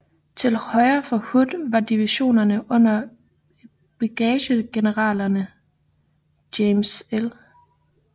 Til højre for Hood var divisionerne under brigadegeneralerne James L